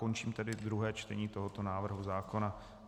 Končím tedy druhé čtení tohoto návrhu zákona.